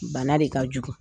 Bana de ka jugu